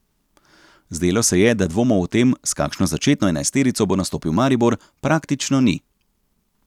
Zdelo se je, da dvomov o tem, s kakšno začetno enajsterico bo nastopil Maribor, praktično ni.